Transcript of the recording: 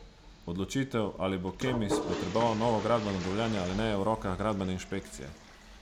Odločitev, ali bo Kemis potreboval novo gradbeno dovoljenje ali ne, je v rokah gradbene inšpekcije.